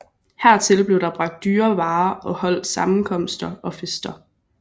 Hertil blev der bragt dyre varer og holdt sammenkomster og fester